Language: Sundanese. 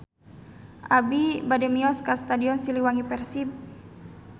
Abi bade mios ka Stadion Siliwangi Persib